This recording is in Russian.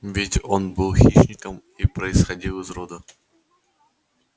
ведь он был хищником и происходил из рода